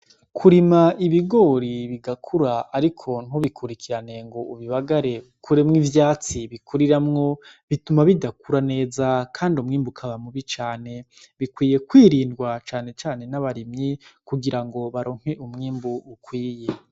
Kurima ibigori bigakura, ariko ntubikurikirane ngo ubibagare ukuremwo ivyatsi bikuriramwo bituma bidakura neza, kandi umwimbuka ukaba mubi cane bikwiye kwirindwa cane cane n'abarimyi kugira ngo baronke umwimbu ukwiye.